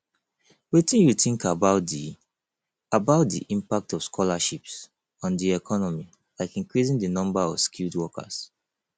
wetin you think about di about di impact of scholarships on di economy like increasing di number of skilled workers